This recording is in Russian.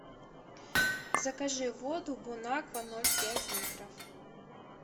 закажи воду бонаква ноль пять литров